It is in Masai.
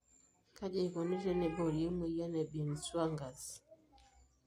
Kaji ikoni teneibori emoyian e Binswanger's?